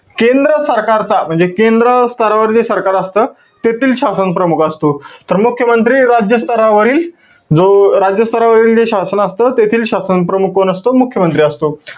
केंद्र सरकारचा म्हणजे, केंद्र स्तरावर जे सरकार असतं, तेथील शासन प्रमुख असतो. तर मुख्यमंत्री राज्य स्तरावरील जो, राज्य स्तरावरील जो शासन असंत, तेथील शासन प्रमुख कोण असतो? मुख्यमंयत्री असतो.